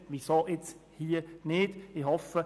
Weshalb nicht in diesem Fall?